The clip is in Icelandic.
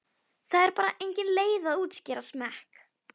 Það er bara engin leið að útskýra smekk.